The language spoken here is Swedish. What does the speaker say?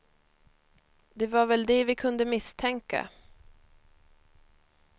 Det var väl det vi kunde misstänka.